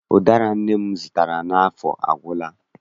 Ụdara ahụ nne m zụtara n'afọ agwụla.